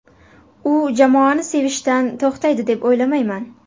U jamoani sevishdan to‘xtaydi deb o‘ylamayman.